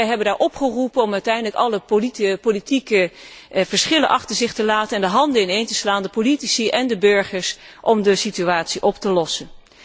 Inderdaad, wij hebben daar opgeroepen om uiteindelijk alle politieke verschillen achter zich te laten, de handen ineen te slaan, politici en burgers, om de situatie op te lossen.